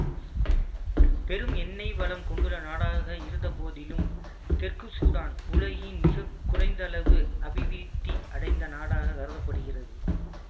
பெரும் எண்ணெய் வளம் கொண்டுள்ள நாடாக இருந்த போதிலும் தெற்கு சூடான் உலகின் மிகக்குறைந்தளவு அபிவிருத்தி அடைந்த நாடாகக் கருத படுகிறது